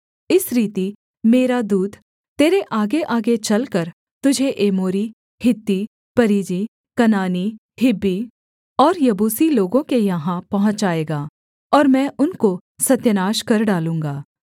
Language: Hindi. इस रीति मेरा दूत तेरे आगेआगे चलकर तुझे एमोरी हित्ती परिज्जी कनानी हिब्बी और यबूसी लोगों के यहाँ पहुँचाएगा और मैं उनको सत्यानाश कर डालूँगा